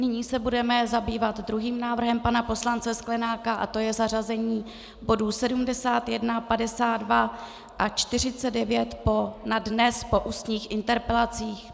Nyní se budeme zabývat druhým návrhem pana poslance Sklenáka a to je zařazení bodů 71, 52 a 49 na dnes po ústních interpelacích.